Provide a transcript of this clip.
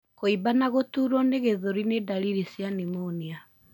Kwimba na gũturwo nĩ githũri nĩ ndariri cia pneumonia.